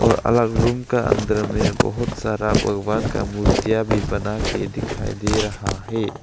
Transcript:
और अलग रूम का अंदर में बहुत सारा भगवान का मूर्तियां भी बनाके दिखाई दे रहा है।